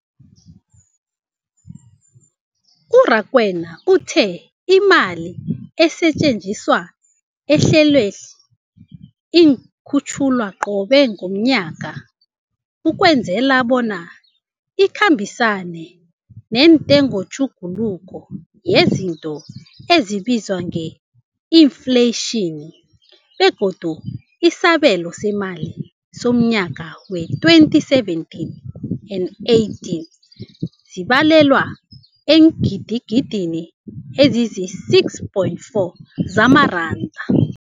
U-Rakwena uthe imali esetjenziswa ehlelweneli ikhutjhulwa qobe ngomnyaka ukwenzela bona ikhambisane nentengotjhuguluko yezinto ebizwa nge-infleyitjhini, begodu isabelo seemali somnyaka we-2017 and 18 sibalelwa eengidigidini ezisi-6.4 zamaranda.